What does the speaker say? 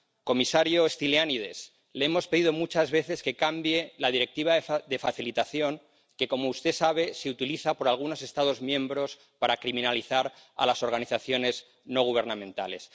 Comisario Stylianides, le hemos pedido muchas veces que cambie la Directiva de ayuda que, como usted sabe, es utilizada por algunos Estados miembros para criminalizar a las organizaciones no gubernamentales.